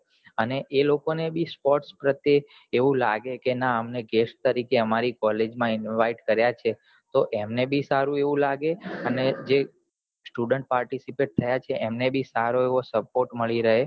અને એ લોકો ને ભી sport પ્રતેય લાગે ના કે guest તરીકે આમારી college માં invite કરીયા છે તો એમને ભી સારું એવું લાગે અને જે student participate થયા છે સારો એવો support મળી રહે